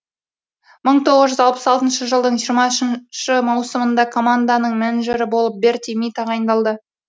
мың тоғыз алпыс алтыншы жылдың жиырмасыншы маусымында команданың менеджері болып берти ми тағайындалды